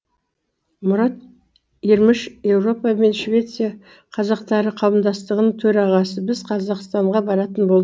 мұрат ерміш еуропа мен швеция қазақтары қауымдастығының төрағасы біз қазақстанға баратын бол